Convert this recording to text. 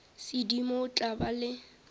sedimo o tla ba le